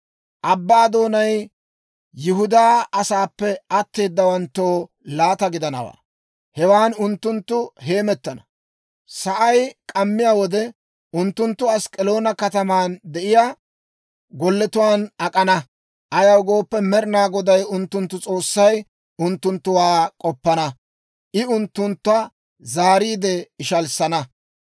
Abbaa doonay Yihudaa asaappe atteedawanttoo laata gidanawaa; hewan unttunttu heemettana. Sa'ay k'ammiyaa wode unttunttu Ask'k'aloona kataman de'iyaa golletuwaan ak'ana; ayaw gooppe, Med'inaa Goday unttunttu S'oossay unttunttuwaa k'oppana; I unttuntta zaariide ishalissana.